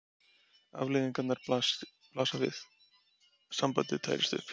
Afleiðingarnar blasa við: sambandið tærist upp.